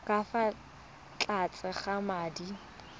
ka fa tlase ga madi